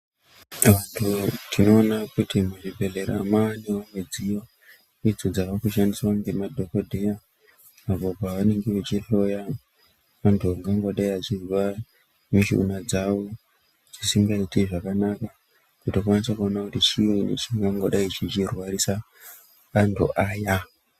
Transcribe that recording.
Tinoona kuti muzvibhedhlera maanewo midziyo idzo dzaakushandiswa ngemadhokodheya apo paanenge achihloya antu angangodaro eirwara mishuna dzavo dzisingaiti zvakanaka dzinokwanisa kuona kuti chiinyi chingangodai cheirwarisa antu aya.